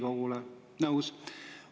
Nõus?